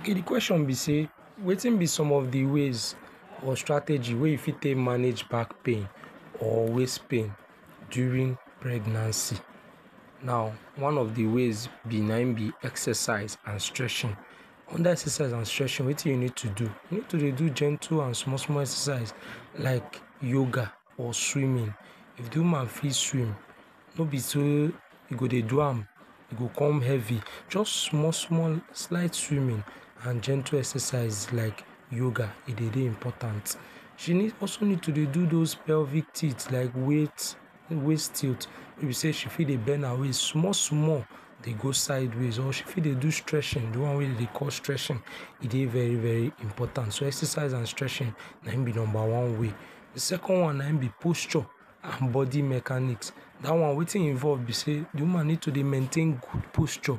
Okay di question be say wetin be some of the ways or strategy wey you fit take manage back pain or waist pain during pregnancy, now one of di way be na im be exercise and stretching, under exercise and stretching wetin you need to do? you need to dey do gentle and small small exercise like yoga or swimming, if di woman fit swim no be say you go dey do am e go com heavi jus small small slight swimming and gentle exercise like yoga e dey important, she need also need to dey do heavi like waist tilt wey be say she fit dey bend her waist small small dey go sideway or she fit dey do stretching di one wey dem dey call stretching e dey very very important, so exercise and stretching na im be one way, di second one na im be posture and bodi mechanic, dat one wetin involve be say di woman need to dey maintain good posture